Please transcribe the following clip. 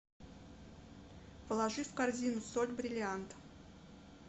положи в корзину соль бриллиант